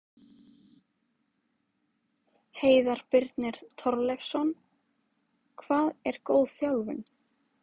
Heiðar Birnir Torleifsson Hvað er góð þjálfun?